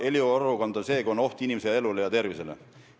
Eriolukord on see, kui on oht inimese elule ja tervisele.